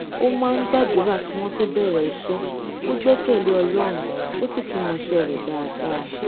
ó máa ń gbàdúrà kí wón tó bèrè iṣẹ ó gbẹkẹlé ọlọrun ó sì tún mọṣẹ rẹ dáadáa